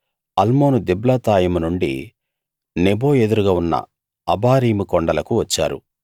అల్మోను దిబ్లాతాయిము నుండి నెబో ఎదురుగా ఉన్న అబారీము కొండలకు వచ్చారు